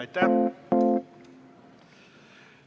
Aitäh!